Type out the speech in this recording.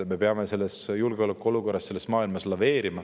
Me peame sellises julgeolekuolukorras selles maailmas laveerima.